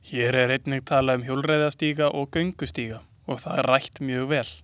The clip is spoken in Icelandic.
Hér er einnig talað um hjólreiðastíga og göngustíga og það rætt mjög vel.